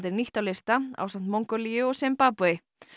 er nýtt á lista ásamt Mongólíu og Simbabve